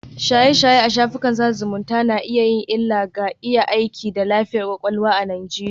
Shaye-shaye a shafukan sada zumunta na iya yin illa ga iya aiki da lafiyar kwakwalwa a Najeriya